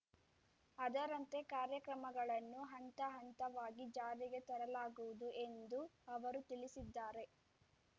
ಅದರಂತೆ ಕಾರ್ಯಕ್ರಮಗಳನ್ನು ಹಂತಹಂತವಾಗಿ ಜಾರಿಗೆ ತರಲಾಗುವುದು ಎಂದು ಅವರು ತಿಳಿಸಿದ್ದಾರೆ